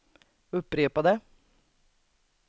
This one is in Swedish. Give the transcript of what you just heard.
upprepade